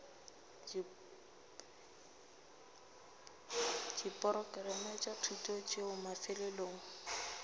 diporokerama tša thuto tšeo mafelelong